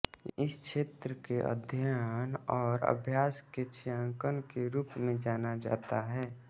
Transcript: इस क्षेत्र के अध्ययन और अभ्यास को छायांकन के रूप में जाना जाता है